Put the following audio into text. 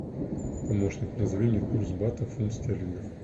помощник назови мне курс батов фунт стерлингов